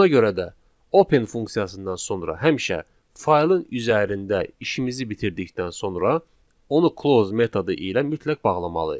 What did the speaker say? Ona görə də open funksiyasından sonra həmişə faylın üzərində işimizi bitirdikdən sonra onu close metodu ilə mütləq bağlamalıyıq.